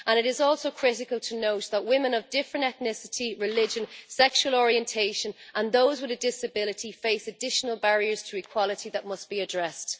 It is also critical to note that women of different ethnicity, religion and sexual orientation and those with a disability face additional barriers to equality that must be addressed.